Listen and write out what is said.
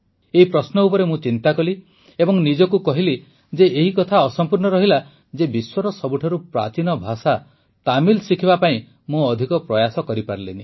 ଏହି ପ୍ରଶ୍ନ ଉପରେ ମୁଁ ଚିନ୍ତା କଲି ଏବଂ ନିଜକୁ କହିଲି ଯେ ଏହି କଥା ଅସମ୍ପୂର୍ଣ୍ଣ ରହିଲା ଯେ ବିଶ୍ୱର ସବୁଠାରୁ ପ୍ରାଚୀନ ଭାଷା ତାମିଲ ଶିଖିବା ପାଇଁ ମୁଁ ଅଧିକ ପ୍ରୟାସ କରିପାରିଲିନି